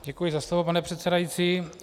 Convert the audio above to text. Děkuji za slovo, pane předsedající.